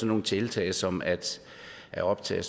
nogle tiltag som at at optage